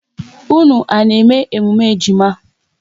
Unu à na-eme emume ejima?